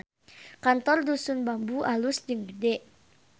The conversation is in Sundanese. Kantor Dusun Bambu alus jeung gede